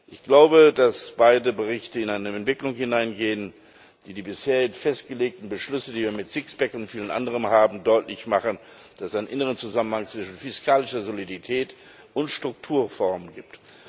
Ich glaube, dass beide Berichte in eine Entwicklung hineingehen, die die bisher festgelegten Beschlüsse, die wir mit Sixpack und vielem anderen haben, deutlich machen, dass es einen inneren Zusammenhang zwischen fiskalischer Solidität und Strukturreformen gibt.